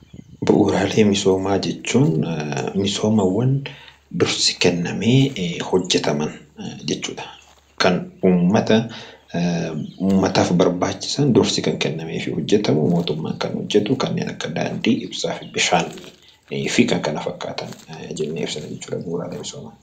Bu'uuraalee misoomaa jechuun misoomaawwan dursi kennamee hojjetaman jechuudha. Kan uummataaf barbaachisan dursi kan kennameefii hojjetamu mootummaan kan hojjetu Kanneen akka daandii, ibsaa, bishaanii fi Kan kana fakkaatani jennee ibsina jechuudha bu'uuraalee misoomaa.